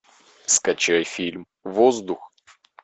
скачай фильм воздух